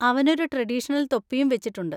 അവനൊരു ട്രഡീഷണൽ തൊപ്പിയും വെച്ചിട്ടുണ്ട്.